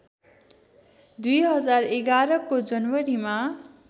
२०११ को जनवरीमा